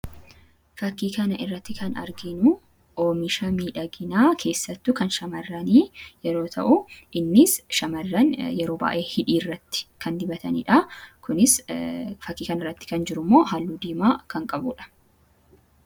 Fakkii kana irratti kan arginu oomisha miidhaginaa keessattu kan shamarranii yeroo ta'u innis shamarran yeroo baay’ee hidhii irratti kan dibataniidha fakkii kan irratti kan jirummoo haalluu diimaa kan qabuudha.